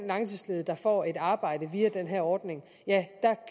langtidsledige der får et arbejde via den her ordning